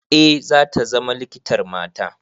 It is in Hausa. Eh, zata zama likitar mata.